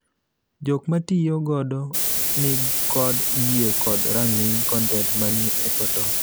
Jok matiyo godo ni kod yiee kod rang'iny kontent manie e portal.